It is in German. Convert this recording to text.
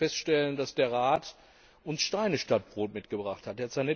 Ich muss feststellen, dass der Rat uns Steine statt Brot mitgebracht hat.